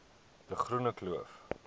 de groene kloof